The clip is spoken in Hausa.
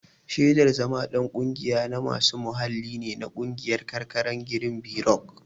Shaidar zama ɗan ƙungiya na masu muhalli ne a ƙungiyar karkarar girinbirok.